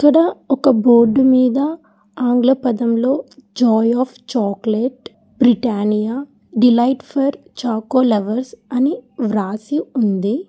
ఇక్కడ ఒక బోర్డు మీద ఆంగ్ల పదంలో joy of chocolate Britannia delight for choco lovers అని రాసి ఉంది.